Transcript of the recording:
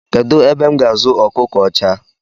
Kedụ ebe m ga-azụ ọkụkọ ọcha?